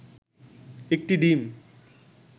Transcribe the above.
একটি ডিম